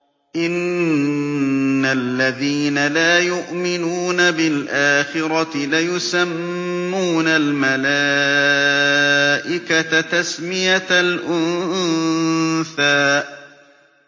إِنَّ الَّذِينَ لَا يُؤْمِنُونَ بِالْآخِرَةِ لَيُسَمُّونَ الْمَلَائِكَةَ تَسْمِيَةَ الْأُنثَىٰ